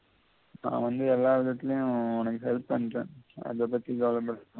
நான் வந்து எல்லா விதத்திலயும் உனக்கு help பண்றன் அதபத்தி கவலைப்படவெண்டாம்